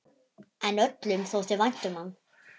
En öllum þótti vænt um hann.